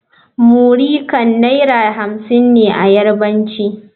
muri Kan Naira hamsin ne a Yarbanci.